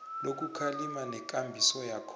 lokukhalima nekambiso yakhona